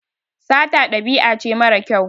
Sata ɗabi'a ce mara kyau.